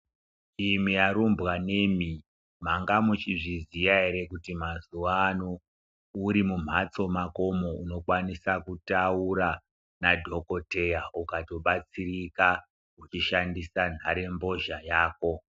Imwi arumbwanemi mwanga mwechizviziya ere kuti mazuano uri mumhatso mwakomwo, unokwanisa kutaura nadhokodheya ukabatsirika uchishandisa nhare- mbozha yako.